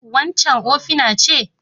Waccan ofina ce?